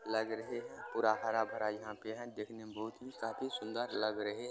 लाग़ रहे हैं। पूरा हर-भरा यहाँ पे है देखने में बहुत् ही काफी सुंदर लग रहे--